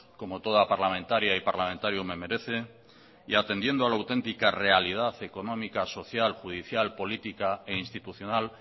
como toda parlamentaria y parlamentario me merece y atendiendo a la autentica realidad económica social judicial política e institucional